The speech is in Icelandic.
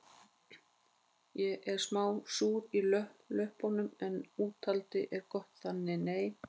Ég er smá súr í löppum en úthaldið er gott þannig nei